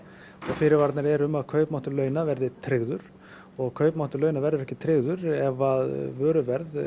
fyrirvararnir eru um að kaupmáttur launa verði tryggður og kaupmáttur launa verður ekki tryggður ef að vöruverð